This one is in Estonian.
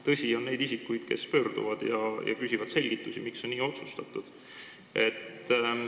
Tõsi, on olnud neid isikuid, kes on pöördunud ja küsinud selgitusi, miks on nii otsustatud.